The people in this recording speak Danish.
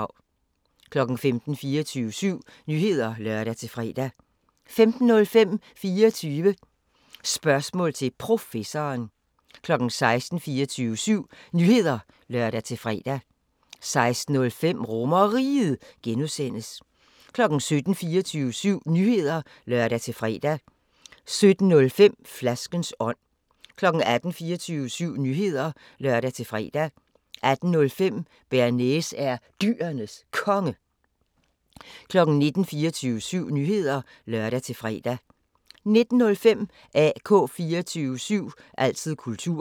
15:00: 24syv Nyheder (lør-fre) 15:05: 24 Spørgsmål til Professoren 16:00: 24syv Nyheder (lør-fre) 16:05: RomerRiget (G) 17:00: 24syv Nyheder (lør-fre) 17:05: Flaskens ånd 18:00: 24syv Nyheder (lør-fre) 18:05: Bearnaise er Dyrenes Konge 19:00: 24syv Nyheder (lør-fre) 19:05: AK 24syv – altid kultur